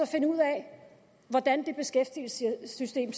finde ud af hvordan det beskæftigelsessystem